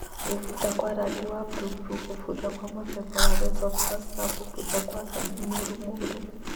Kũbutha kwa rangi wa bururu, kũbutha kwa mũthemba wa Rhizopus, na kũbutha kwa rangi mũruru